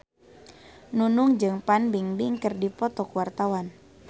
Nunung jeung Fan Bingbing keur dipoto ku wartawan